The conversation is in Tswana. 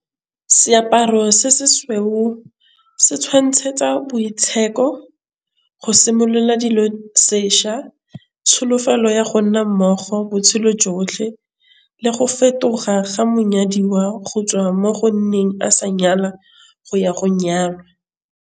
Seaparo se se sweu se tšhwantšhetsa boitshepo go simolola dilo sešwa. Tšholofelo ya go nna mmogo botshelo jotlhe le go fetoga ga monyadiwa go tswa mo go nneng a sa nyala go ya go nyalwa.